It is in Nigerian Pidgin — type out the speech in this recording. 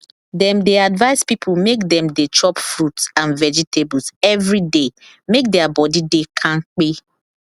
dem dey advice people make dem dey chop fruit and vegetables every day make their body dey kampe